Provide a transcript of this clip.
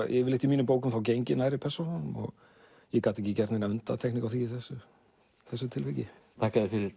yfirleitt í mínum bókum geng ég nærri persónunum ég gat ekki gert neina undantekningu á því í þessu þessu tilviki þakka þér fyrir